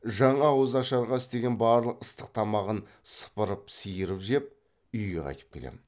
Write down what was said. жаңа ауыз ашарға істеген барлық ыстық тамағын сыпырып сиырып жеп үйге қайтып келем